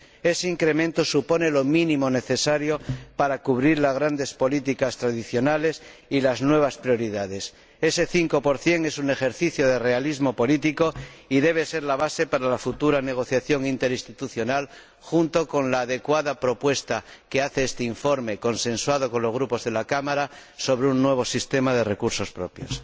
Ese incremento supone lo mínimo necesario para cubrir las grandes políticas tradicionales y las nuevas prioridades. Ese 5 es un ejercicio de realismo político y debe ser la base para la futura negociación interinstitucional, junto con la adecuada propuesta que hace este informe, consensuado con los grupos de la Cámara, sobre un nuevo sistema de recursos propios.